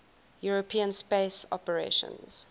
european space operations